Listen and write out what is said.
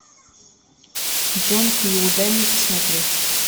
джон кью дай мне посмотреть